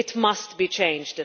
It must be changed.